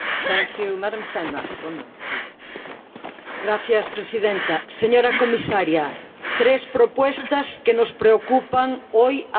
Señora presidenta, señora comisaria tres propuestas que nos preocupan hoy a las mujeres en el mundo rural.